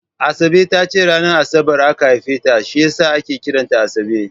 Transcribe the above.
Asabe ta ce ranar Asabar aka haife ta shi ya sa ake kiran ta Asabe